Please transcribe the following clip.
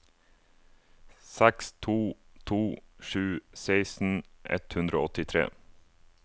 seks to to sju seksten ett hundre og åttitre